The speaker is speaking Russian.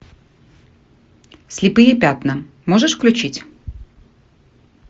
слепые пятна можешь включить